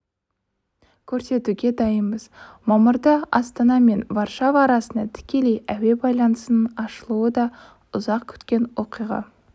көрсетуге дайынбыз мамырда астана мен варшава арасында тікелей әуе байланысының ашылуы да ұзақ күткен оқиға